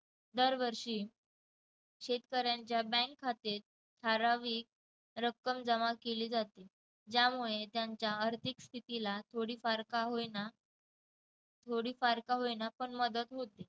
दरवर्षी शेतकऱ्यांच्या बँक खाते ठराविक रक्कम जमा केली जाते ज्यामुळे त्यांच्या आर्थिक स्थितीला थोडीफार का होईना थोडीफार का होईना पण मदत होते.